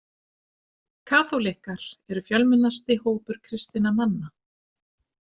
Kaþólikkar eru fjölmennasti hópur kristanna manna.